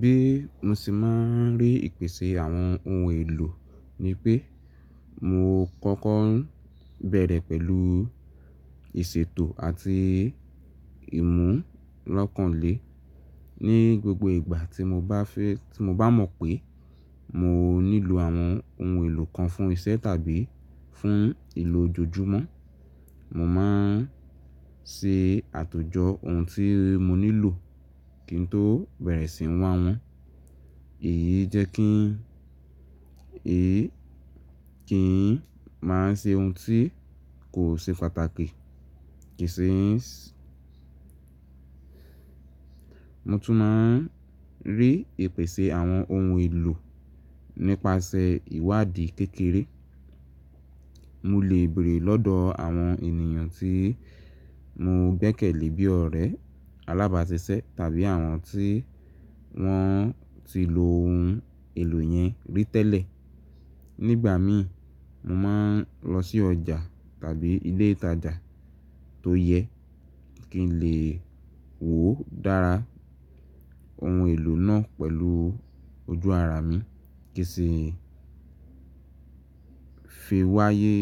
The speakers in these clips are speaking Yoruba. Bí mo ṣe máa ń rí ìpèsè àwọn ohun èlò ni pé mo kọ́kọ́ ń bẹ̀rẹ̀ pẹ̀lú ìṣètò àti ìmú lọ́kànlé. Ni gbogbo ìgbà tí mo bá fẹ́, tí mo bá mọ̀ pé mo nílò àwọn ohun èlò kan fún iṣẹ́ tàbí fún ìlò jojumo, mo máa ń ṣe àtòjọ ohun tí mo nílò kí n tó bẹ̀rẹ̀ síí wá wọn. Èyí jẹ́ kí n, èyí kí n máa ṣe ohun tí kò ṣe pàtàkì. Kì í ṣe n sí. Mo tún máa ń rí ìpèsè àwọn ohun èlò nípasẹ̀ ìwádìí kékeré. Mo lè béèrè lọ́dọ̀ àwọn ènìyàn tí mo gbẹ́kẹ̀lé bi ọ̀rẹ́ alábàásisẹ́ tàbí àwọn tí wọ́n ti lo ohun èlò yẹn rí tẹ́lẹ̀. Nígbà mí, mo máa ń lọ sí ọjà tàbí ilé ìtajà tó yẹ kí n lè wò ó dára ohun èlò náà pẹ̀lú ojú ara mi kí sì fi wáyé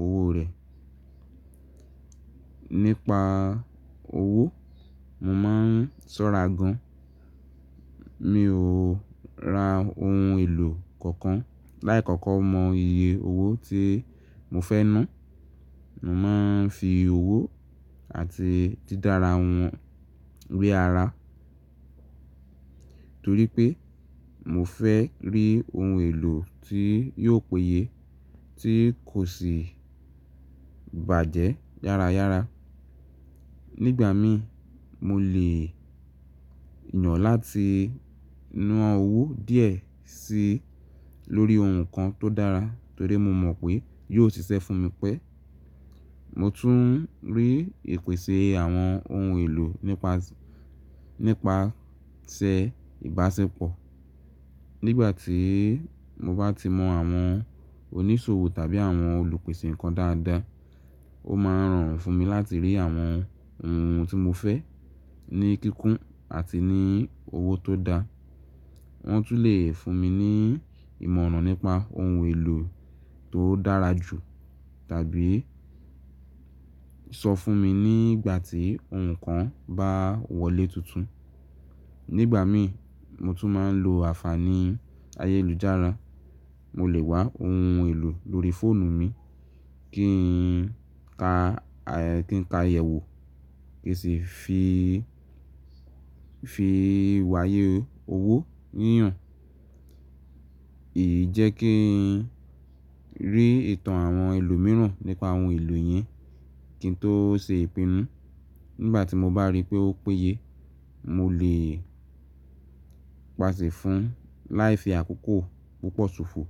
owó rẹ̀. Nípa owó, mo máa ń ṣọ́ra gan. Mi ò ra ohun èlò kankan láì kọ́kọ́ mọ iye owó tí mo fẹ́ ná. Mo máa ń fi owó àti dídára wọn rí ara torí pé mo fẹ́ rí ohun èlò tí yóò péye tí kò sì bàjẹ́ yára yára. Nígbà mí mo lè yàn láti na owó díẹ̀ sí lórí ohun kan tó dára torí mo mọ̀ pé yóò ṣiṣẹ́ fún mi pẹ́. Mo tún ń rí ìpèsè àwọn ohun èlò nípasẹ̀, nípasẹ̀ ìbáṣepọ̀. Nígbà tí mo bá ti mọ àwọn oníṣòwò tàbí àwọn olùpèsè nǹkan dáadáa, ó máa rọrùn fún mi láti rí àwọn ohun tí mo fẹ́ ní kíkún àti ní owó tó dá. Wọ́n tún lè fún mi ní ìmọ̀ràn nípa ohun èlò tó dára jù tàbí sọ fún mi nígbà tí ohun kan bá wọlé tuntun. Nígbà mí, mo tún máa ń lo àfààní ayélujára. Mo lè wá ohun èlò lórí fóònù mi kí n ka, kí n ka iyẹ̀wù kí sì fi, fi wáyé owó yíyan. Èyí jẹ́ kí n rí ìtàn àwọn ẹlòmíràn nípa àwọn ohun èlò yẹn kí n tó ṣe ìpinnu. Nígbà tí mo bá rí pé ó péye, mo lè pàṣẹ fún láì fi àkókò púpọ̀ ṣòfò.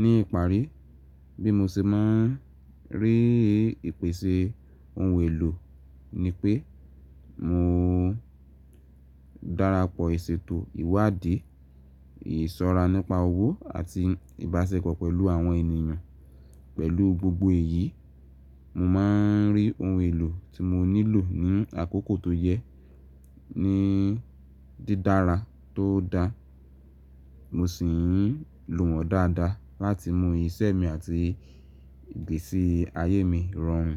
Ní ìparí, bí mo ṣe máa ń rí ìpèsè ohun èlò ni pé mo dára pọ ìṣètò ìwádìí, ìsọra nípa owó àti ìbáṣepọ̀ pẹ̀lú àwọn ènìyàn. Pẹ̀lú gbogbo èyí, mo máa ń rí ohun èlò tí mo nílò ní àkókò tó yẹ ní dídára tó dá. Mo sì ń lò wọ́n dáadáa láti mú iṣẹ́ mi àti ìgbésí ayé mi rọrùn.